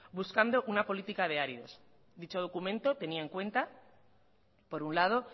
buscando una política de áridos dicho documento tenía en cuenta por un lado